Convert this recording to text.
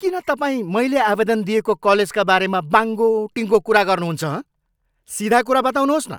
किन तपाईँ मैले आवेदन दिएको कलेजका बारे बाङ्गोटिङ्गो कुरा गर्नुहुन्छ, हँ? सिधा कुरा बताउनुहोस् न!